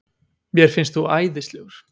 Mér finnst þú æðislegur.